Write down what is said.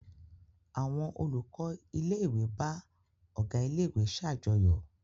Àwọn olùkọ́ ilé-ìwé bá ọ̀gá ilé-ìwé ṣàjọyọ̀.